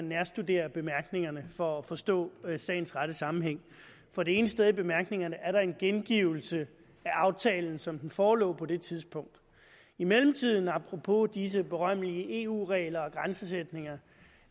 nærstudere bemærkningerne for at forstå sagens rette sammenhæng for det ene sted i bemærkningerne er der en gengivelse af aftalen som den forelå på det tidspunkt i mellemtiden apropos disse berømmelige eu regler og grænsesætninger